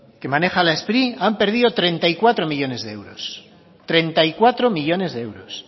que maneja la spri han perdido treinta y cuatro millónes de euros treinta y cuatro millónes de euros